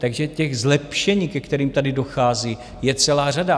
Takže těch zlepšení, ke kterým tady dochází, je celá řada.